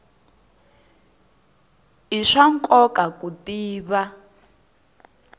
i swa nkoka ku tiva